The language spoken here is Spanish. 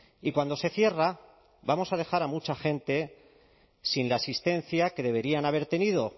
y cuando se cierra vamos a dejar a mucha gente sin la asistencia que deberían haber tenido